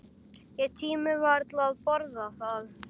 Ég tími varla að borða það.